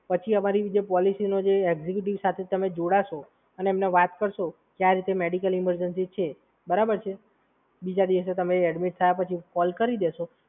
પછી અમારી જે પોલિસીનો જે એકઝયુકેટીવ સાથે તમે જોડાશો અને એમને વાત કરશો કે આવી રીતે મેડિકલ ઇમરજન્સી છે, બરાબર છે? બીજા દિવસે તમે એડ્મિટ થયા પછી કોલ કરી દેશે.